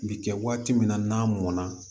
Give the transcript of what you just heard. Bi kɛ waati min na n'a mɔn na